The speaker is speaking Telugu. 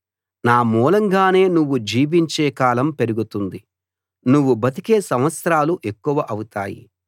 నా మూలంగానే నువ్వు జీవించే కాలం పెరుగుతుంది నువ్వు బతికే సంవత్సరాలు ఎక్కువ అవుతాయి